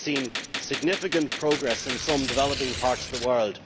We have seen significant progress in some developing parts of the world